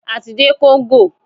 A ti dé Congo.